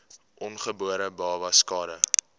ongebore babas skade